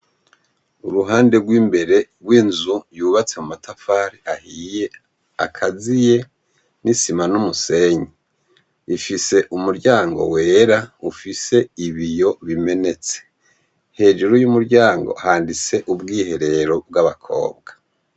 Uruhande rw'imbere rw'inzu yubatse mu matafare ahiye akaziye n'i sima n'umusenyi, ifise umuryango wera ufise ibiyo bimenetse hejuru y'umuryango handitse ubwiherero bw'abakobwa.